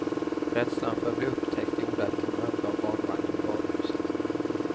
Rädslan för att bli upptäckt gjorde att hon övergav barnvagnen i varuhuset.